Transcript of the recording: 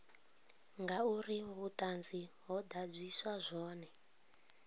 ngauri vhuṱanzi ho ḓadziswa zwone